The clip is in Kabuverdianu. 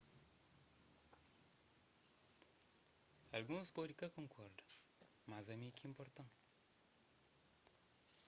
alguns pode ka konkorda mas ami ki inporta-m